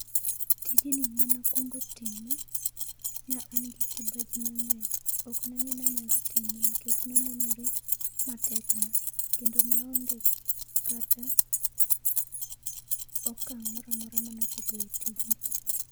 Tijni mane akuongo time, ne an gi kibaji mang'eny, ok ne ang'eyo ni anyalo time nikech ne onene matekna kendo ne aonge kata okang' moro amora mane ase goyo e tijni.